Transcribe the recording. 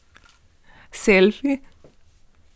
Selfi?